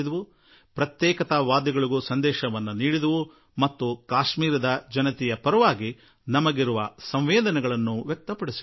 ಪ್ರತ್ಯೇಕತಾವಾದಿ ತತ್ವಗಳಿಗೂ ಸಂದೇಶ ರವಾನೆಯಾಯಿತು ಹಾಗೂ ಕಾಶ್ಮೀರದ ಜನರ ಬಗ್ಗೆ ನಮ್ಮ ಸಂವೇದನೆಗಳನ್ನು ವ್ಯಕ್ತಪಡಿಸಲಾಯಿತು